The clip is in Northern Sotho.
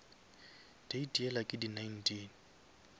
date yela ke di nineteen